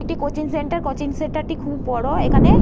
একটি coaching centre. Coaching centre -টি খুব বড় এখানে --